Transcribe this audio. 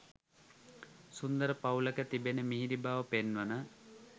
සුන්දර පවුලක තිබෙන මිහිරි බව පෙන්වන